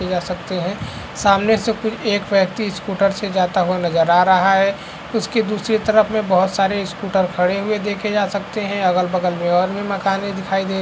जा सकते है सामने से कुल एक व्यक्ति स्कूटर से जाता हुआ नजर आ रहा है उसके दूसरे तरफ में बहुत सारे स्कूटर खड़े हुए देखे जा सकते है अगल बगल में और भी मकाने दिखाई दे --